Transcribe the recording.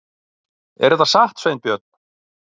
Er þetta satt, Sveinbjörn?